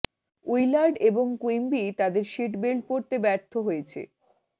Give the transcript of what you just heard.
Willard এবং Quimby তাদের seat belt পরতে ব্যর্থ হয়েছে